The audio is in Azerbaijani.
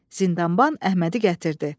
Zindanban Əhmədi gətirdi.